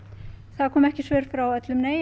það komu ekki svör frá öllum